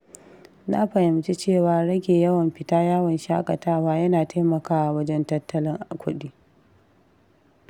Na fahimci cewa rage yawan fita yawon shaƙatawa yana taimakawa wajen tattalin kuɗi.